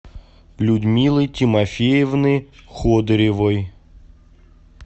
людмилы тимофеевны ходыревой